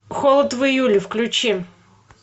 холод в июле включи